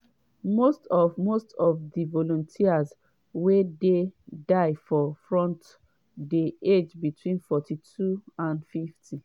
most of most of di volunteers wey dey die for front dey aged between 42 and 50.